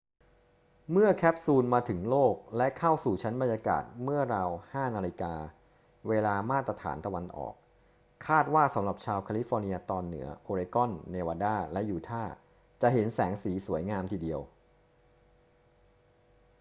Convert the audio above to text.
เมื่อแคปซูลมาถึงโลกและเข้าสู่ชั้นบรรยากาศเมื่อราว 5 น. เวลามาตรฐานตะวันออก คาดว่าสำหรับชาวแคลิฟอร์เนียตอนเหนือ โอเรกอน เนวาดา และยูทาห์ จะเห็นแสงสีสวยงามทีเดียว